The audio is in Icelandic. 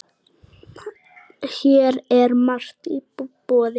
Hér er margt í boði.